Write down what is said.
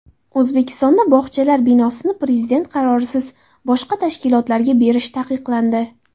O‘zbekistonda bog‘chalar binosini prezident qarorisiz boshqa tashkilotlarga berish taqiqlandi.